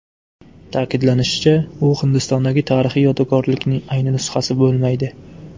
Ta’kidlanishicha, u Hindistondagi tarixiy yodgorlikning ayni nusxasi bo‘lmaydi.